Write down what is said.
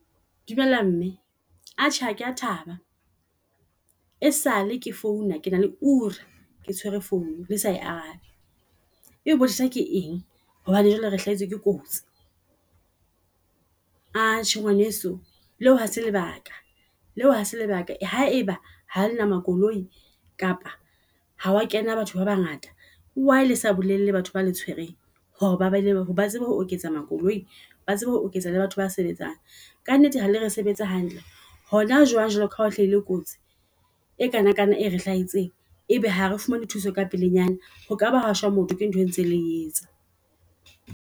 Dumela mme. Atjhe, ha kea thaba e sale ke founa, ke na le ure ke tshwere founo le sa arabe. E botsa ke eng? Hobane joale re hlahetswe ke kotsi . Atjhe ngwaneso, leo hase lebaka leo hase lebaka. Haeba ha lena makoloi kapa ha wa kena batho ba bangata, why lesa bolelle batho ba le tshwereng hore ba baneng ba tsebe ho oketsa makoloi, ba tsebe ho oketsa le batho ba sebetsang. Ka nnete halea re sebetsa hantle hona jwang jwale kaha o hlahile kotsi e kanakana e re hlahetseng. E be ha re fumane thuso ka pelenyana, ho kaba ho ashwa motho ke ntho e ntse le etsa.